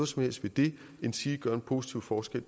som helst ved det endsige gøre en positiv forskel